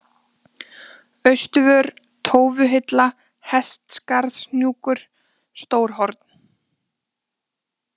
Austurvör, Tófuhilla, Hestaskarðshnúkur, Stórhorn